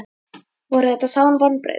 Voru þetta sár vonbrigði?